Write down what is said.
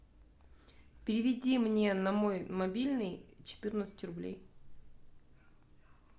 переведи мне на мой мобильный четырнадцать рублей